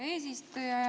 Hea eesistuja!